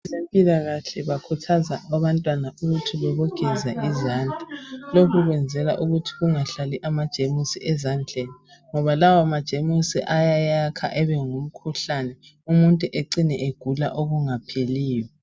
Abezempilakahle bakhuthaza abantwana ukuthi bebogeza izandla lokhu kwenzelwa ukuthi kungahlali amagemusi ezandleni ngoba lawa magemusi ayayakha abengumkhuhlane umuntu acime esegula okungapheliyo.